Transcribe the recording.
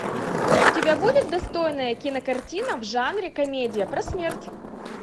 у тебя будет достойная кинокартина в жанре комедия про смерть